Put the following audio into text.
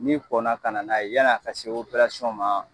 N kɔnna ka na n'a ye yani a ka se li ma